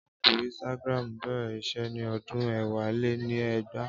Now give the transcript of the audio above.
Áàpù Instagram bẹ̀rẹ̀ iṣẹ́ ní ọdún ẹ̀wá-lé-ni-ẹgbàá